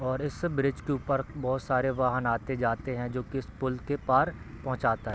और इस ब्रिज के ऊपर बहोत सारे वाहन आते-जाते रहते हैं जो की इस पूल के पार पोहोंचाता है।